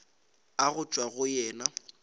a go tšwa go yena